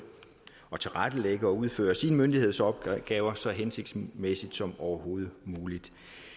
at tilrettelægge og udføre sine myndighedsopgaver så hensigtsmæssigt som overhovedet muligt